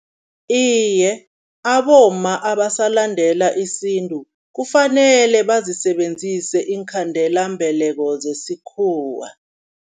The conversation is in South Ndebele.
Iye, abomma abasalandela isintu kufanele bazisebenzise iinkhandelambeleko zesikhuwa.